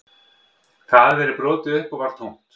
Það hafði verið brotið upp og var tómt